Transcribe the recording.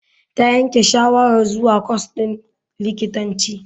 Ta yanke shawarar zuwa kwas din likitanci.